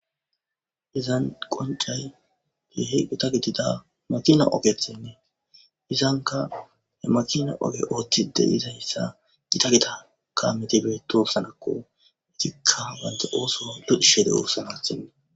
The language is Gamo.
Izan qoncay keehippe gita gidida makina oget izanka Gita gidida makina oge othid dizaysa Gita Gita kamet betosonako , istika banta oso lo'ishe dosona.